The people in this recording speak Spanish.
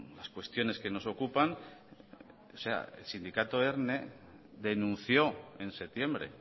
las cuestiones que nos ocupan o sea el sindicato erne denunció en septiembre